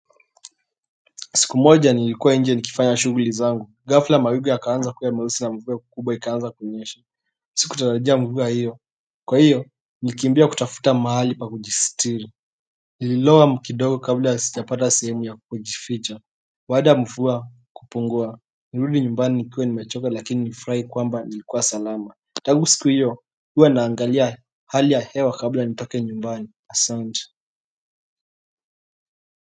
Siku moja nilikua nje nikifanya shughuli zangu ghafla mawingu yakawa meusi na mvua kubwa ikaanza kunyesha siku tatarajia mvua hiyo kwa hiyo nilikimbia kutafuta mahali pa kujisitiri. Nililowa kidogo kabla ya sijapata sehemu ya kujificha baada ya mvua kupungua. Nilirudi nyumbani nikuwe ni mechoka lakini nifurahi kwamba nilikuwa salama Tangu siku hiyo huwa naangalia hali ya hewa kabla nitoke nyumbani asante.